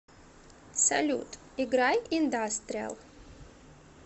салют играй индастриал